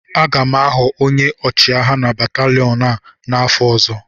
Aga m aghọ onye ọchịagha nke batalịon a n'afọ ọzọ